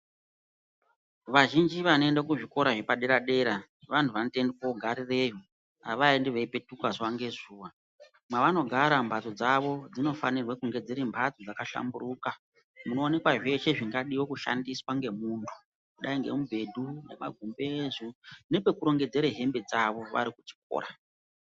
Vazhinji vanoenda kuzvikora zvepadera dera vanhu vanotoende kogarireyo. Havaendi veipetuka zuwa ngezuwa. Kwavanogara mbatso dzavo dzinofanirwe kunge dziri mbatso dzakashamburuka munoonekwa zveshe zvingadiwa kushandiswa ngemuntu kudai ngemubhedhu, magumbezi nepekurongedzera hembe dzawo vari kuchikora.